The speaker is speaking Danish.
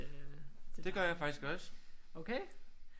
Det gør jeg faktisk også